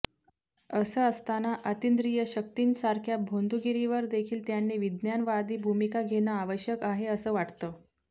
असं असताना अतिंद्रिय शक्तींसारख्या भोंदूगिरीवर देखील त्यांनी विज्ञानवादी भूमिका घेणं आवश्यक आहे असं वाटतं